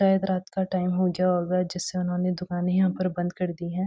शायद रात का टाइम हो गया होगा जिससे उन्होंने दुकानें यहां पे बंद कर दी हैं।